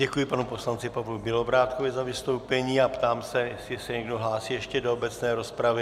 Děkuji panu poslanci Pavlu Bělobrádkovi za vystoupení a ptám se, jestli se někdo hlásí ještě do obecné rozpravy.